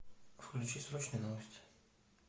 включи срочные новости